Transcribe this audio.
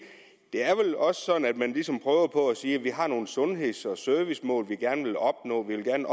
er vel også sådan at man ligesom prøver på at sige at vi har nogle sundheds og servicemål vi gerne vil opnå og vi vil